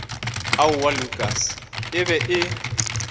aowaa lukas e be e